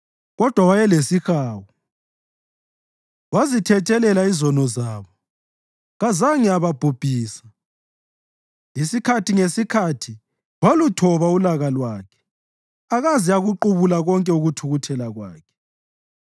Kodwa wayelesihawu; wazithethelela izono zabo kaze ababhubhisa. Isikhathi ngesikhathi waluthoba ulaka lwakhe akaze akuqubula konke ukuthukuthela kwakhe.